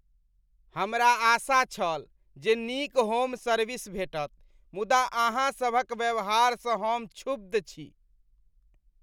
हमरा आशा छल जे नीक होम सर्विस भेटत, मुदा अहाँ सभक व्यवहारसँ हम क्षुब्ध छी।